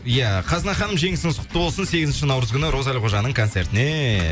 ия қазына ханым жеңісіңіз құтты болсын сегізінші наурыз күні роза әлқожаның концертіне